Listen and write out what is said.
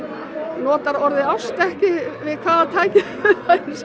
notar orðið ást ekki við hvaða tækifæri sem